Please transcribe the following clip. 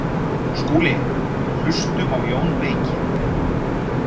SKÚLI: Hlustum á Jón beyki!